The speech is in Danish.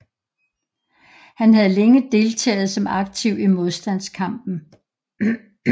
Han havde længe deltaget som aktiv i modstandskampen